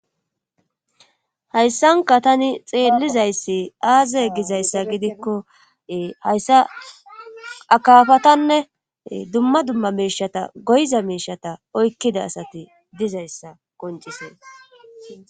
hayssanka tani xeellizayssi aaze gizayssa gidikko hayssa akafatanne dumma dumma miishata goyza miishata oykkida asati dizayssa qoncisee